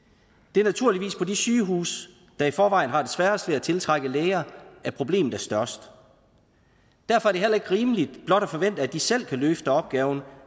det er naturligvis på de sygehuse der i forvejen har sværest ved at tiltrække læger at problemet er størst derfor er det heller ikke rimeligt at forvente at de selv kan løfte opgaven